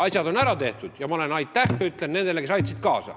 Asjad on ära tehtud ja ma ütlen aitäh nendele, kes sellele kaasa aitasid.